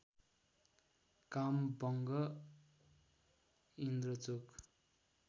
काम वंघः इन्द्रचोक